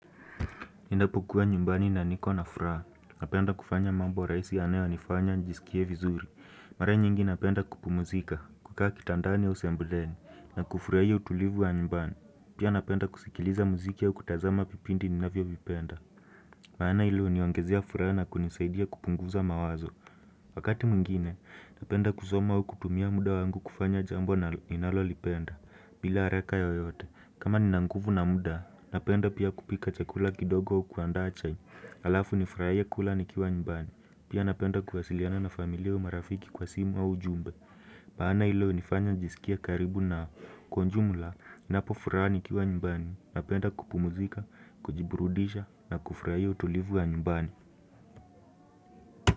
Ninapukua nyumbani na niko na furaha, napenda kufanya mambo rahis yanayo nifanya nisikie vizuri Mara nyingi napenda kupumzika, kukaa kitandani au sebuleni, na kufurahia utulivu wa nyumbani Pia napenda kusikiliza muziki au kutazama vipindi ninavyo vipenda maana hilo huniongezea furaha na kunisaidia kupunguza mawazo Wakati mwingine, napenda kusoma au kutumia muda wangu kufanya jambo ninalolipenda bila haraka yoyote, kama nina nguvu na muda, napenda pia kupika chakula kidogo kuandaa chai Alafu nifurahie kula nikiwa nymbani, pia napenda kuhasiliana na familia au marafiki kwa simu au jumbe maana hilo hunifanya njisikie karibu na kwa jumla, ninapo fura nikiwa nyumbani, napenda kupumuzika, kujiburudisha na kufurahia utulivu wa nyumbani.